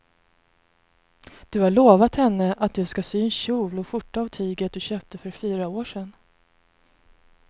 Du har lovat henne att du ska sy en kjol och skjorta av tyget du köpte för fyra år sedan.